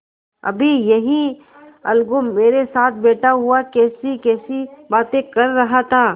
अभी यह अलगू मेरे साथ बैठा हुआ कैसीकैसी बातें कर रहा था